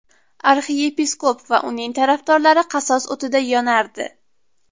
Arxiyepiskop va uning tarafdorlari qasos o‘tida yonardi.